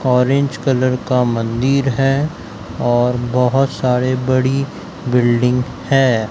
Orange colour का मंदिर हैं और बहोत सारे बड़ी बिल्डिंग हैं।